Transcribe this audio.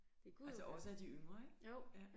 Altså også af de yngre ikke ja